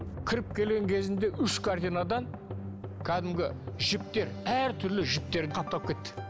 кіріп келген кезінде үш корзинадан кәдімгі жіптер әртүрлі жіптер қаптап кетті